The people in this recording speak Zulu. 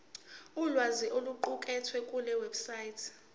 ulwazi oluqukethwe kulewebsite